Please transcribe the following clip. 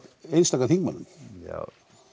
einstaka þingmönnum já